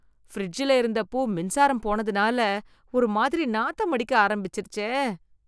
ஃபிரிட்ஜ்ல வெச்சிருந்த பூ மின்சாரம் போனதுனால ஒரு மாதிரி நாத்தம் அடிக்க ஆரம்பிச்சிருச்சே.